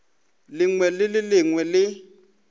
lengwe le le lengwe le